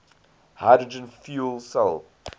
hydrogen fuel cell